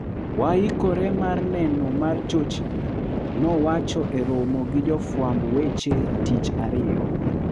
"Wahikore mar neno mar chochni.," nowacho e romo gi jofwamb weche tich ariyo